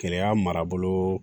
Kɛlɛya marabolo